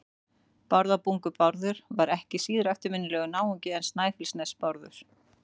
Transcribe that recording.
Bárðarbungu-Bárður var ekki síður eftirminnilegur náungi en Snæfellsnes-Bárður.